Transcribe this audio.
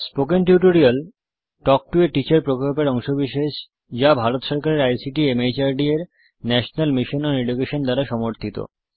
spoken tutorial talk to a teacher প্রকল্পের অংশবিশেষ যা ভারত সরকারের আইসিটি মাহর্দ এর ন্যাশনাল মিশন ওন এডুকেশন দ্বারা সমর্থিত